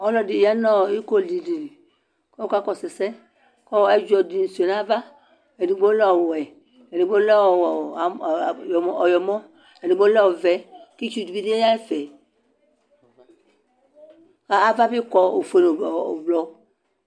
Alʋ ɛdini yanʋ ikodili kʋ ɔka kɔsʋ ɛsɛ kʋ ayɔ ɛdzɔdi suia nʋ ava edigbo lɛ ɔwɛ edigbo lɛ ɔyɔmɔ edigbo lɛ ɔvɛ kʋ itsu dibi yanʋ ɛfɛ kʋ avabi kɔ ofue nʋ ʋblɔ